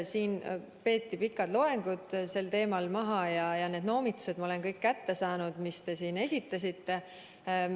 Siin peeti sel teemal maha pikk loeng ja need noomitused, mis te siin esitasite, ma olen kõik kätte saanud.